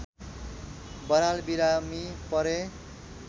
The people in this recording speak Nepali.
बराल बिरामी परे